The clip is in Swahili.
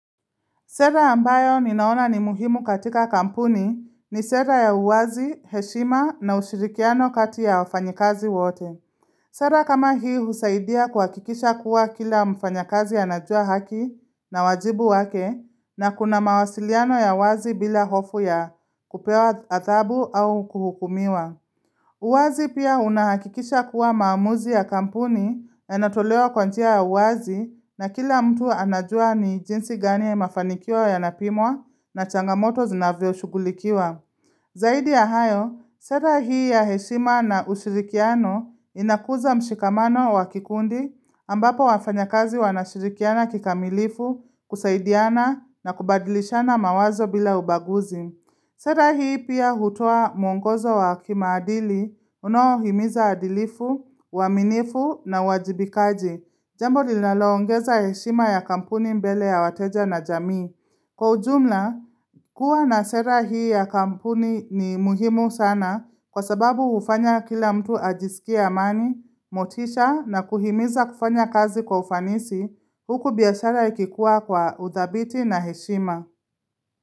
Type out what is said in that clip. Sera ambayo ninaona ni muhimu katika kampuni ni sera ya uwazi, heshima na ushirikiano kati ya wafanyikazi wote. Sera kama hii husaidia kuhakikisha kuwa kila mfanyakazi anajua haki na wajibu wake na kuna mawasiliano ya wazi bila hofu ya kupewa adhabu au kuhukumiwa. Uwazi pia unahakikisha kuwa maamuzi ya kampuni yanatolewa kwa ntja ya uwazi na kila mtu anajua ni jinsi gani ya mafanikiwa yanapimwa na changamoto zinavyoshugulikiwa. Zaidi ya hayo, sera hii ya heshima na ushirikiano inakuza mshikamano wa kikundi ambapo wafanyakazi wanashirikiana kikamilifu kusaidiana na kubadilishana mawazo bila ubaguzi. Sera hii pia hutoa mwongozo wa kimaadili, unaohimiza adilifu, uaminifu na uajibikaji. Jambo linaloongeza heshima ya kampuni mbele ya wateja na jamii. Kwa ujumla, kuwa na sera hii ya kampuni ni muhimu sana kwa sababu hufanya kila mtu ajisikie amani, motisha na kuhimiza kufanya kazi kwa ufanisi, huku biashara ikikua kwa udhabiti na heshima.